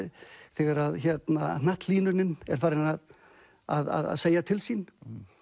þegar er farin að að segja til sín